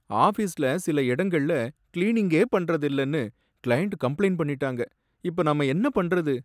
ஆஃபீஸ்ல சில இடங்கள்ல கிளீனிங்கே பண்றதில்லனு கிளையன்ட் கம்ப்ளெய்ன் பண்ணிட்டாங்க, இப்ப நாம என்ன பண்றது?